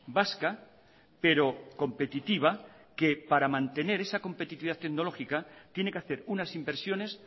vasca pero competitiva que para mantener esa competitividad tecnológica tiene que hacer unas inversiones